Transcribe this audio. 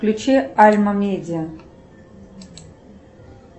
включи альма медиа